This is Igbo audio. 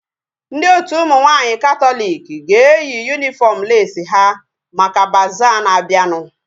Ndị otu ụmụ nwaanyị katọliki ga-eyi yunifọm leesi ha maka bazaa na-abianu